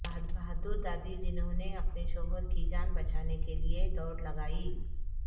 بہادر دادی جنہوں نے اپنے شوہر کی جان بچانے کے لیے دوڑ لگائی